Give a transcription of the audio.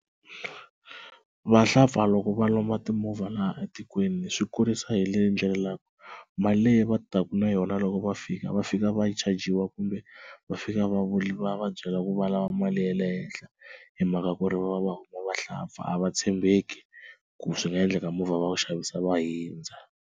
Vahlampfa loko va lomba timovha laha etikweni swi kurisa hi leyi ndlela mali leyi va taka na yona loko va fika va fika va chajiwa kumbe va fika va va va byela ku valava mali ya le henhla hi mhaka ku ri va va va huma vahlampfa a va tshembeki ku swi nga endleka movha va wu xavisa va hundza.